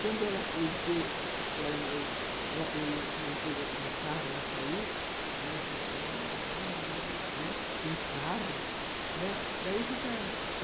Quando ela no carro, ela saiu, ela falou assim, olha tem carro, né, daí ficaram